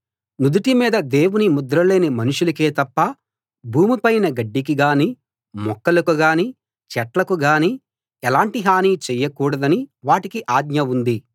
నుదుటి మీద దేవుని ముద్ర లేని మనుషులకే తప్ప భూమి పైన గడ్డికి గానీ మొక్కలకు గానీ చెట్లకు గానీ ఎలాంటి హని చేయకూడదని వాటికి ఆజ్ఞ ఉంది